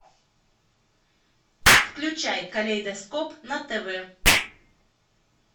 включай калейдоскоп на тв